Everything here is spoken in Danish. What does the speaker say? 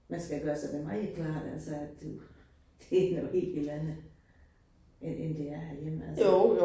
Man skal gøre sig det meget klart altså, at du det noget helt helt andet end end det er herhjemme altså